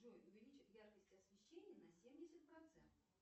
джой увеличь яркость освещения на семьдесят процентов